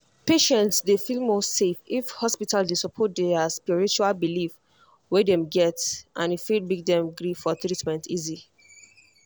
patients dey feel more safe if hospital dey support di spiritual belief wey dem get and e fit make dem gree for treatment easy.